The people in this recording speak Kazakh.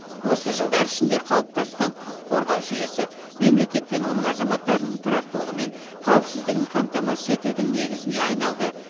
осы жылдар ішінде қалыптасқан құқық қорғау жүйесі мемлекет пен оның азаматтарының тұрақтылығы мен қауіпсіздігін қамтамасыз етудің негізіне айналды